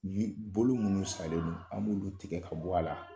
Bolo munnu salen don an b'olu tigɛ ka bɔ a la.